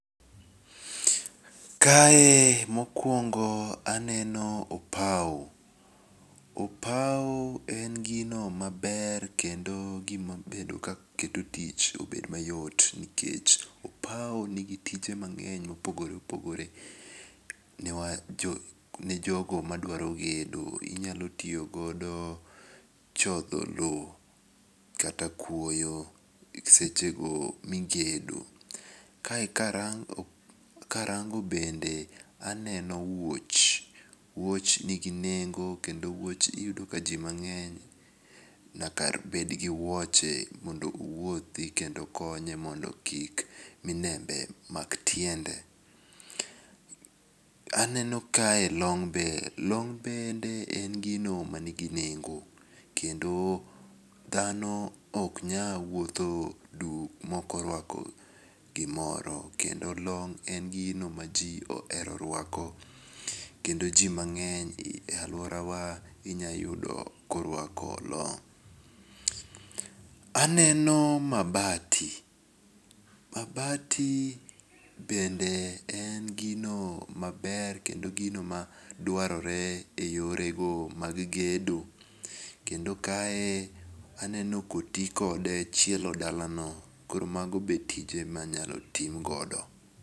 Kae mokuongo aneno opau, opau en gino maber kendo gima bedo ka keto tich bedo mayot nikech opau nigi tije ma ng'eny mopogore opogore ne jogo maduaro gedo inyalo tiyogodo e chotho lowo kata kuoyo sechego migedo. Kae karango bende aneno wuoch, wuoch nigi nengo kendo wuoch iyudo ka ji mang'eny nyaka bed gi wuoche mondo owuothi kendo konye mondi kik mineme mak tiende, aneno kae long be long bende en gino manigi nengo kendo dhano ok nyal wuotho duk ma okorwako gimoro kendo long en gino ma ji ohero rwako, kendo ji mangeny e aluorawa inyayudo korwako long. Aneno mabati, mabati bende en gino ma ber kendo gino madwarore e yorego mag gedo kendo kae aneno koti kode chielo dalano koro magi be tije minyalo ti kode.